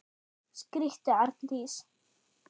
skríkti Arndís.